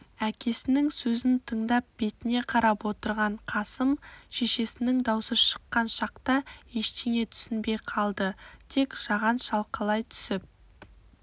әкесінің сөзін тыңдап бетіне қарап отырған қасым шешесінің даусы шыққан шақта ештеңе түсінбей қалды тек жаған шалқалай түсіп